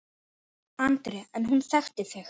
Andri: En hún þekkti þig?